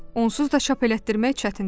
Onsuz da çap elətdirmək çətindir.